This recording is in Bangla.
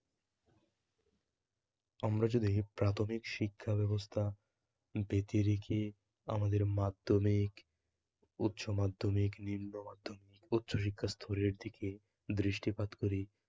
আমরা যদি প্রাথমিক শিক্ষা ব্যবস্থা বেঁধে রেখে আমাদের মাধ্যমিক, উচ্চমাধ্যমিক, নিম্নমাধ্যমিক, উচ্চশিক্ষা স্তরের দিকে দৃষ্টিপাত করি